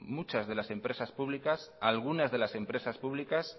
muchas de las empresas públicas alguna de las empresas públicas